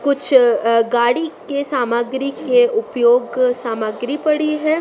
कुछ गाड़ी के सामग्री के उपयोग सामग्री पड़ी हैं।